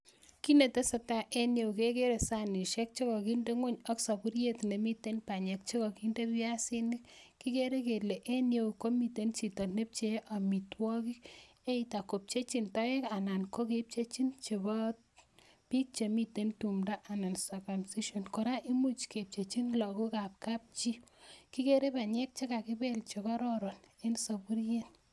Kit netesetai en ireyo kegeree sanishek che koginde ng'weny ok soburiet nemiten banyek che koginde biasinik. Kigeere kele en ireyo komiten chito ne pchee amitwogik either kopchejin toek anan ko kepchejin chebo biik chemiten tumdo anan circumcision. Kora imuch kepcheji lagokab kap chii. Kigeere banyek che kakibel che kororon en soburiet.